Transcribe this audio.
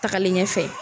Tagalen ɲɛfɛ